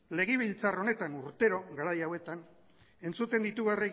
legebiltzar honetan urtero garai hauetan entzuten ditugu